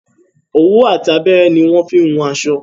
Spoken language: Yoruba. Òwú àti abẹ́rẹ́ ni won n fi wun aṣọ